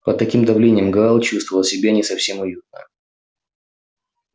под таким давлением гаал чувствовал себя не совсем уютно